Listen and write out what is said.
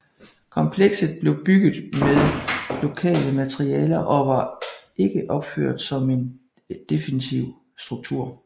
Komplekset blev bygget med lokale materialer og var ikke opført som en defensiv struktur